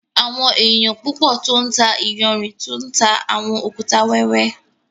Àwọn ènìyàn púpọ̀ tó ńtà ìyànṛín tú ńtà awọn òkútà wẹwẹ.